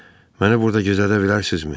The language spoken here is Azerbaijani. Məni burda gizlədə bilərsinizmi?